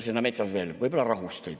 Mida seal veel?